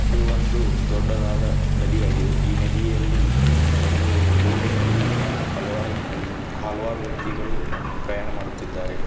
ಇದು ಒಂದು ದೊಡ್ಡದಾದ ನದಿಯಾಗಿದೆ ಈ ನದಿಯಲ್ಲಿ ಒಂದು ಬೋಟಿನಲ್ಲಿ ಹಲವಾರು ಒಂದ್ ಹಲವಾರು ವ್ಯಕ್ತಿಗಳು ಪ್ರಯಾಣ ಮಾಡುತ್ತಿದ್ದಾರೆ.